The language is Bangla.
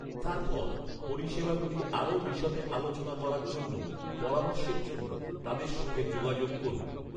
তারপর, পরিষেবাগুলি আরও বিশদে আলোচনা করার জন্য পরামর্শের জন্য তাদের সঙ্গে যোগাযোগ করুন।